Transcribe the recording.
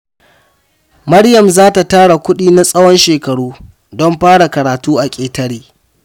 Maryam za ta tara kudi na tsawon shekaru don fara karatu a ƙetare.